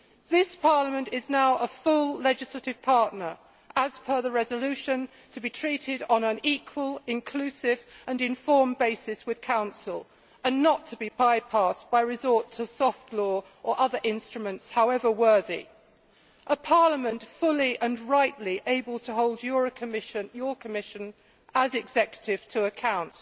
This parliament is now a full legislative partner, as per the resolution, to be treated on an equal, inclusive and informed basis with Council and not to be by passed by resorting to soft law or other instruments, however worthy a parliament fully and rightly able to hold your Commission, as executive, to account.